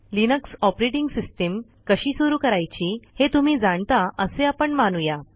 Linux operating system कशी सुरू करायची हे तुम्ही जाणता असे आपण मानू या